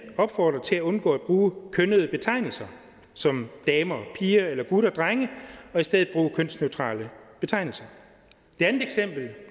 opfordrer til at undgå at bruge kønnede betegnelser som damer og piger eller gutter og drenge og i stedet bruge kønsneutrale betegnelser